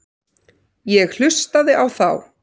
Ég hlustaði á þá.